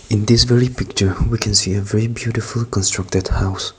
this many picture we can see a very beautiful constructed house.